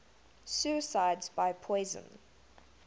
suicides by poison